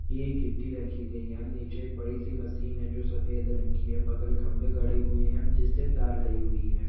ये एक गिट्टी रखी गई है ह-म- नीचे एक बडीसी मशीन है जो सफ़ेद रंग की है बगल खंबे खड़े हुए है जिससे तार गई हुई है।